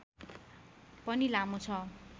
पनि लामो छ